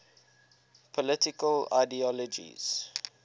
political ideologies